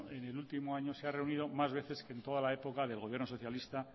en el último año se ha reunido más veces que en toda la época del gobierno socialista